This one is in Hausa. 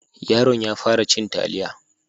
Yaron ya fara cin taliya.